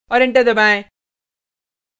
और enter दबाएँ